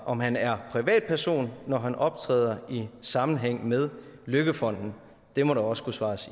om han er privatperson når han optræder i sammenhæng med løkkefonden det må der også kunne svares